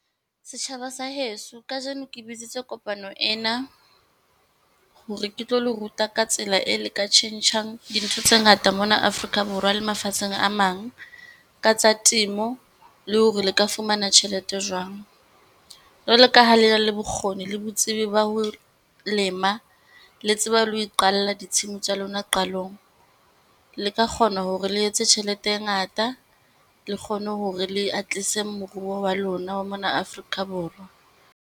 Setjhaba sa heso kajeno ke bitsitse kopano ena, hore ke tlo le ruta ka tsela e le ka tjhentjhang dintho tse ngata mona Afrika Borwa le mafatsheng a mang, ka tsa temo, le hore le ka fumana tjhelete jwang. Jwalo ka ha le na le bokgoni le botsebi ba ho lema, le tseba le ho iqalla ditshimo tsa lona qalong. Le ka kgona hore le etse tjhelete e ngata, le kgone hore le atise moruo wa lona wa mona Afrika Borwa.